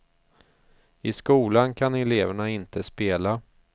I skolan kan eleverna inte spela.